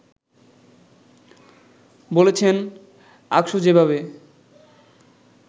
বলেছেন, আকসু যেভাবে